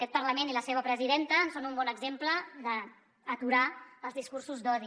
aquest parlament i la seva presidenta en són un bon exemple d’aturar els discursos d’odi